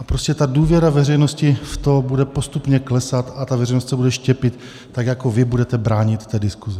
A prostě ta důvěra veřejnosti v to bude postupně klesat a ta veřejnost se bude štěpit, tak jako vy budete bránit té diskusi.